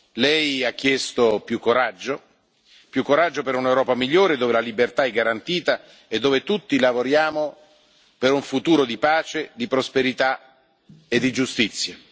Lei ha chiesto più coraggio per un'Europa migliore, dove la libertà è garantita e dove tutti lavoriamo per un futuro di pace, di prosperità e di giustizia.